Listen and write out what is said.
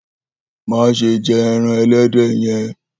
Maṣe jẹ ẹran ẹlẹdẹ yẹn!